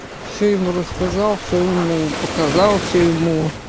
все ему рассказал все ему показался все ему